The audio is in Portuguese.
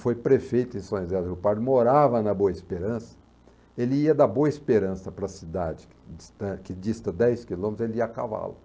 foi prefeito em São José do Rio Pardo, morava na Boa Esperança, ele ia da Boa Esperança para a cidade, que distam que dista dez quilômetros, ele ia a cavalo.